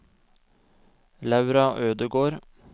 Laura Ødegård